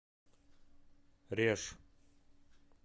реж